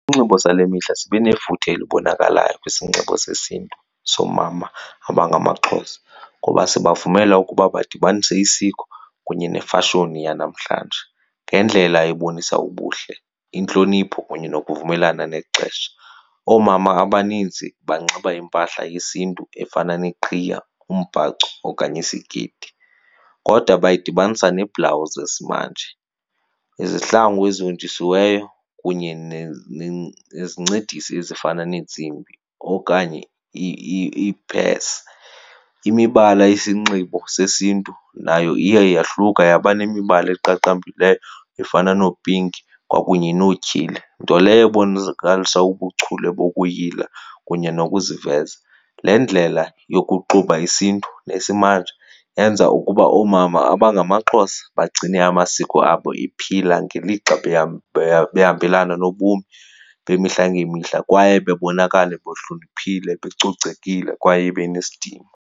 Isinxibo sale mihla sibe nefuthe elibonakalayo kwisinxibo sesiNtu soomama abangamaXhosa ngoba sibavumela ukuba badibanise isiko kunye nefashoni yanamhlanje ngendlela ebonisa ubuhle, intlonipho kunye nokuvumelana nexesha. Oomama abanintsi banxiba impahla yesiNtu efana neqhiya, umbhaco okanye isikeyiti. Kodwa bayidibanisa neebhlawuzi sesimanje, izihlangu ezihonjisiweyo kunye nezincedisi ezifana neentsimbi okanye iiphesi. Imibala yesinxibo sesiNtu nayo iye yahluka yaba nemibala eqaqambileyo efana noo-pink kwakunye nootyheli, nto leyo ubuchule bokuyila kunye nokuziveza. Le ndlela yokuxuba isiNtu nesimanje yenza ukuba oomama abangamaXhosa bagcine amasiko abo ephila ngelixa behambelana nobomi bemihla ngemihla kwaye bebonakala bohloniphile, becocekile kwaye benesidima.